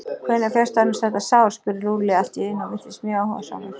Hvenær fékkstu annars þetta sár? spurði Lúlli allt í einu og virtist mjög áhugasamur.